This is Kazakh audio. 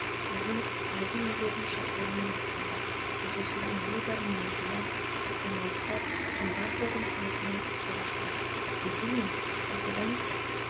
ойын айдын иелерінің шабуылымен басталды кездесудің небәрі минутында астаналықтар кэм баркердің көмегімен есеп ашты дегенмен осыдан